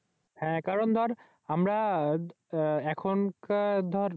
হ্যাঁ কারণ দর আমরা এখনকার দর